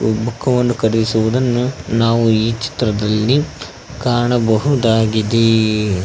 ಈ ಬುಕ್ ವನ್ನು ಖರೀದಿಸುವುದನ್ನು ನಾವು ಈ ಚಿತ್ರದಲ್ಲಿ ಕಾಣಬಹುದಾಗಿದೆ.